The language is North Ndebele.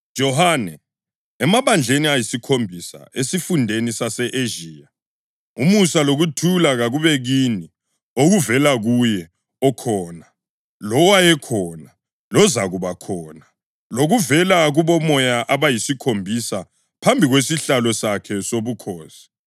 Johane, Emabandleni ayisikhombisa esifundeni sase-Ezhiya: Umusa lokuthula kakube kini okuvela kuye okhona, lowayekhona, lozakubakhona, lokuvela kubomoya abayisikhombisa phambi kwesihlalo sakhe sobukhosi,